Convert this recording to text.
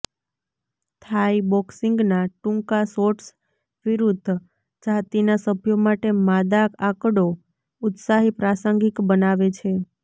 થાઈ બોક્સિંગના ટૂંકા શોર્ટ્સ વિરુદ્ધ જાતિના સભ્યો માટે માદા આંકડો ઉત્સાહી પ્રાસંગિક બનાવે છે